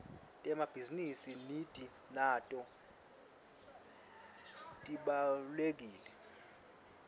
temabhizi nidi nato tibawlekile